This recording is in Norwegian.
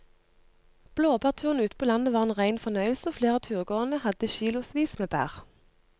Blåbærturen ute på landet var en rein fornøyelse og flere av turgåerene hadde kilosvis med bær.